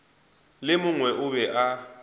le mongwe o be a